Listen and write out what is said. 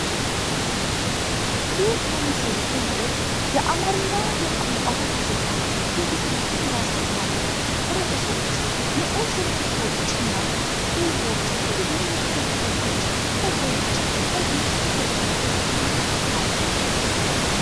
ይህ የምስል ቅንጥብ የአማርኛ ቋንቋ ጋዜጣ የፊት ገጽን ያሳያል። ርዕሶች፣ ንዑስ ርዕሶች እና ጽሑፎች እንዲሁም የፖለቲከኞች ፎቶዎች በግልጽ በገጹ ላይ ተካተዋል።